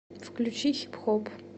включи хип хоп